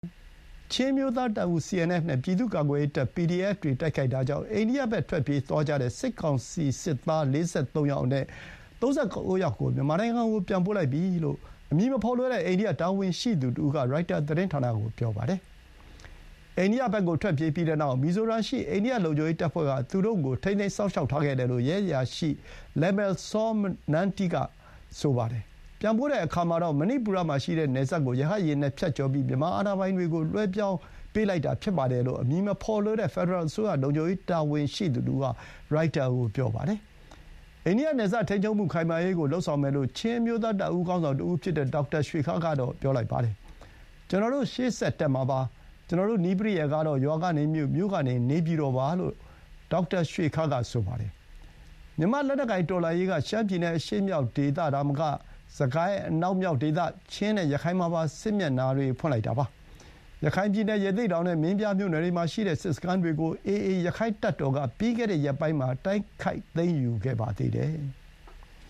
ချင်းအမျိုးသား တပ်ဦး (CNF) နဲ့ ပြည်သူ့ကာကွယ်ရေးတပ် (PDF) တွေ တိုက်ခိုက်တာကြောင့် အိန္ဒိယဘက် ထွက်ပြေးသွားကြတဲ့ စစ်ကောင်စီ စစ်သား ၄၃ ယောက်အနက် ၃၉ ယောက်ကို မြန်မာနိုင်ငံဘက်ပြန်ပို့လိုက်ကြောင်း အမည်မဖော်လိုတဲ့ အိန္ဒိယတာဝန်ရှိသူတဦးက ရိုက်တာသတင်းဌာနကို ပြောပါတယ်။ အိန္ဒိယဘက်ကို ထွက်ပြေးပြီးနောက် မီဇိုရမ်ရှိ အိန္ဒိယလုံခြုံရေးတပ်ဖွဲ့က သူတို့ကို ထိန်းသိမ်းထားခဲ့တယ်လို့ ရဲအရာရှိ လယ်မယ်စောမ နမ်းတီး (Lalmalsawma Hnamte) က ဆိုပါတယ်။ ပြန်ပို့တဲ့အခါမှာတော့ မဏိပူရမှာရှိတဲ့နယ်စပ်ကို ရဟတ်ယာဥ်နဲ့ ဖြတ်ကျော်ပြီး မြန်မာအာဏာပိုင်တွေကို လွှဲပြောင်းပေးလိုက်တာဖြစ်တယ်လို့ အမည်မဖော်လိုတဲ့ ဖက်ဒရယ်အစိုးရ လုံခြုံရေးတာဝန်ရှိသူတဦးက ရိုက်တာကို ပြောပါတယ်။ အိန္ဒိယနယ်စပ်ထိန်းချုပ်မှု ခိုင်မာရေးကို လုပ်ဆောင်မယ်လို့ ချင်းအမျိုးသား တပ်ဦးခေါင်းဆောင် ဒေါက်တာရွှေခါးက ဆိုပါတယ်။ “ကျနော်တို့ ရှေ့ဆက်တက်မှာပါ။ ကျနော်တို့ နည်းပရိယာယ်ကတော့ ရွာကနေ မြို့၊ မြို့ကနေ နေပြည်တော်ပါ။” လို့ ဒေါက်တာရွှေခါးက ဆိုပါတယ်။ မြန်မာ့လက်နက်ကိုင်တော်လှန်ရေးက ရှမ်းပြည်နယ် အရှေ့မြောက်ဒေသသာမက စစ်ကိုင်းအနောက်မြောက်ဒေသ၊ ချင်းနဲ့ ရခိုင်မှာပါ စစ်မျက်နှာတွေ ဖွင့်လိုက်တာပါ။ ရခိုင်ပြည်နယ် ရသေ့တောင်နဲ့ မင်းပြားမြို့နယ်တွေမှာရှိတဲ့ စစ်စခန်းတွေကို AA ရက္ခိုင့်တပ်တော်က ပြီးခဲ့တဲ့ရက်ပိုင်းမှာ တိုက်ခိုက်သိမ်းယူခဲ့ပါသေးတယ်။